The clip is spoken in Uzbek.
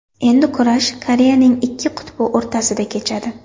Endi kurash Koreyaning ikki qutbi o‘rtasida kechadi.